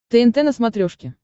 тнт на смотрешке